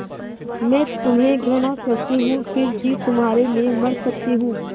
मैं तुम्हें घृणा करती हूँ फिर भी तुम्हारे लिए मर सकती हूँ